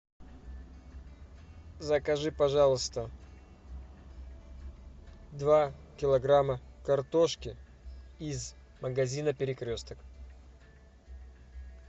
закажи пожалуйста два килограмма картошки из магазина перекресток